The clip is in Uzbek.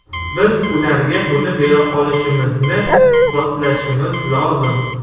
Biz ularga buni bera olishimizni isbotlashimiz lozim.